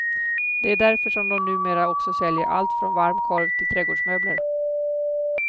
Det är därför som de numera också säljer allt från varm korv till trädgårdsmöbler.